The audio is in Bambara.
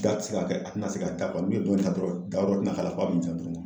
ti se ka kɛ a tɛna se ka da, kɔni dɔrɔn da wɛrɛ